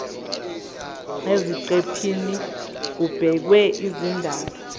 eziqephini kubhekwe izindaba